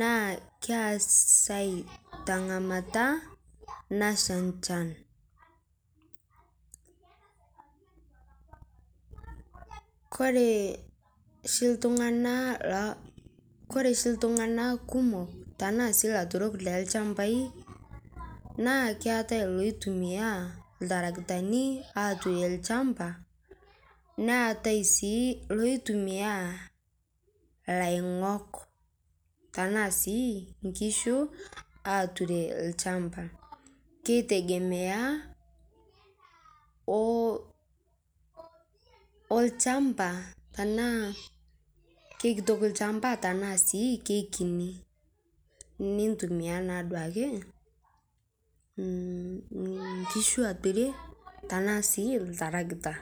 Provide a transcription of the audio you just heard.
naa keisai te ng'amata naishaa echaan. Kore shii ltung'ana loo , kore shii ltung'ana kumook tana siii laaturoke le lchambai naa keetai loitumia ltaarakitani atuurie lchambaa neetai sii loitumi laing'ook tana sii nkishuu atuurie lchambaa. Keitegemea o olchambaa tana kekitook lchambaa tana sii kekinii. Nitumia naa duake nkishuu aaperie tana sii ltaarakita.